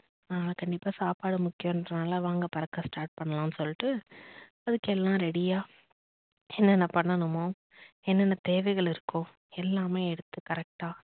நான் கண்டிப்பா சாப்பாடு முக்கியம்னு சொன்னேன்ல வாங்க பறக் start பண்ணலாம்னு சொல்ட்டு அதுக்கு எல்லாம் ready யா என்ன என்ன பண்ணோமோ என்னென்ன தேவைகள் இருக்கோ எல்லாமே எடுத்து correct க்டா